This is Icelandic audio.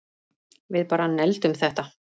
Við bara negldum þetta